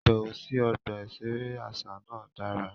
Ibẹwo sí ọgbà iṣere aṣa náà dára